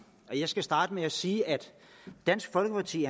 jeg skal starte med at sige at dansk folkeparti